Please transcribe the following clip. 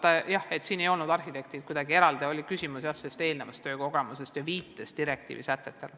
Aga jah, arhitektid ei ole kuidagi eraldi hammasrataste vahel, küsimus oli varasemas töökogemuses ja viites direktiivi sätetele.